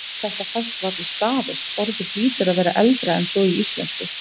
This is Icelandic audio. Þetta fæst varla staðist, orðið hlýtur að vera eldra en svo í íslensku.